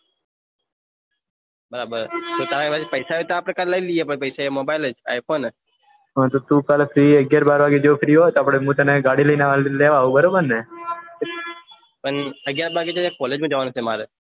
ના બે તારા કાન પૈસા હોય તો આપડે કાલ લઇ રહીએ મોબાઇલ i phone નેજ અને એકજટ બાર વાગે free હોય તો ને હું તને ગાડી લઈને લેવા આવું બરાબર ને અગિયાર વાગે તો કોલેજ માં જવાનું છે મારે